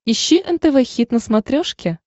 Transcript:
ищи нтв хит на смотрешке